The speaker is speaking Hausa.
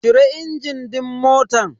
Cire injin din motan.